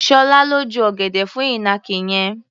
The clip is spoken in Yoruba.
Ṣọlá ló ju ọ̀gẹ̀dẹ̀ fún ìnàkí yẹn.